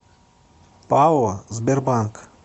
пао сбербанк